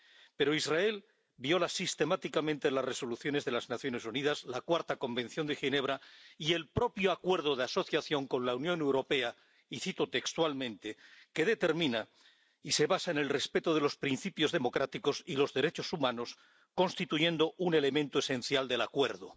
Pero Israel viola sistemáticamente las resoluciones de las Naciones Unidas, la Cuarta Convención de Ginebra y el propio Acuerdo de Asociación con la Unión Europea ⸻y cito textualmente⸻, que determina y se basa en el respeto de los principios democráticos y los derechos humanos, constituyendo un elemento esencial del Acuerdo.